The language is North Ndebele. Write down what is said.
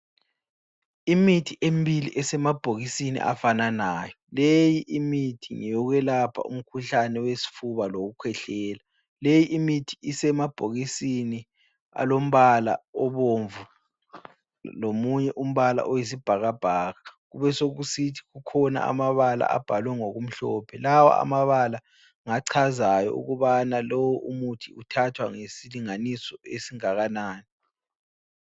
Imithi emibili esemabhokisini afananayo. Leyi imithi ngeyokwelapha umkhuhlane wesifuba lowokukhwehlela. Leyi imithi isemabhokisini alombala obomvu lomunye umbala oyisibhakabhaka. Kubesokusithi kukhona amabala abhalwe ngokumhlophe. Lawa amabala ngachazayo ukubana lowo umuthi uthatha ngesilinganiso esingakanani.